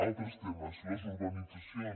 altres temes les urbanitzacions